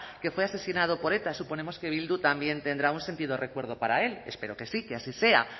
que fue asesinado por eta suponemos que bildu también tendrá un sentido recuerdo para él espero que sí que así sea